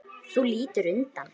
Þú lítur undan.